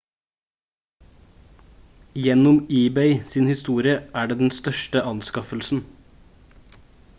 gjennom ebay sin historie er det den største anskaffelsen